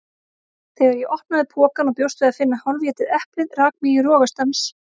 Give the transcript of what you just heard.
Þegar ég opnaði pokann og bjóst við að finna hálfétið eplið rak mig í rogastans.